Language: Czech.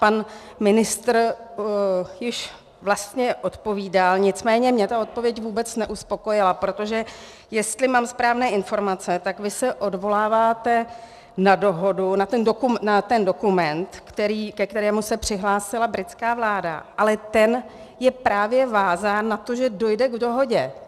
Pan ministr již vlastně odpovídal, nicméně mě ta odpověď vůbec neuspokojila, protože jestli mám správné informace, tak vy se odvoláváte na dohodu, na ten dokument, ke kterému se přihlásila britská vláda, ale ten je právě vázán na to, že dojde k dohodě.